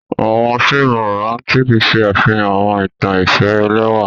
Awọn fiimu Romantic ṣe afihan awọn itan ifẹ ẹlẹwa.